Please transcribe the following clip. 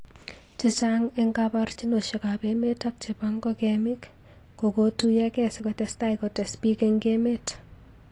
chechang eng kaborjinoshek ab emet ak chebo ngokemik kokotuyokei sikotestai kotes bik eng emet.